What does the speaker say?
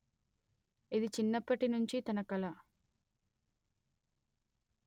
ఇది చిన్నప్పటి నుంచి తన కల